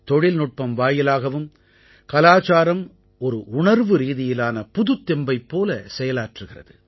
தொழில்நுட்பம் வாயிலாகவும் கலாச்சாரம் ஒரு உணர்வுரீதியிலான புதுத்தெம்பைப் போல செயலாற்றுகிறது